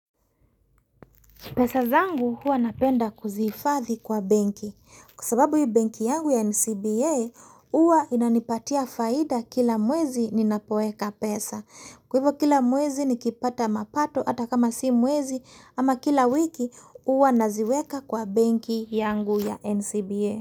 Pesa zangu huwa napenda kuzifadhi kwa benki. Kwa sababu hii benki yangu ya NCBA huwa inanipatia faida kila mwezi ninapoeka pesa. Kwa hivyo kila mwezi nikipata mapato hata kama si mwezi ama kila wiki hua naziweka kwa benki yangu ya NCBA.